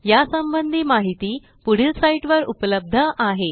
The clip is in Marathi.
यासंबंधी माहिती पुढील साईटवर उपलब्ध आहे